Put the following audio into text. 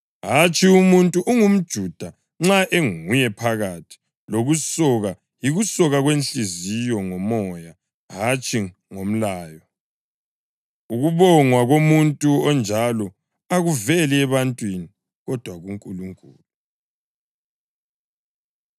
Hatshi, umuntu ungumJuda nxa enguye ngaphakathi, lokusoka yikusoka kwenhliziyo, ngoMoya, hatshi ngomlayo. Ukubongwa komuntu onjalo akuveli ebantwini, kodwa kuNkulunkulu.